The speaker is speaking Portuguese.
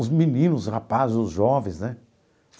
Os meninos, os rapazes, os jovens, né?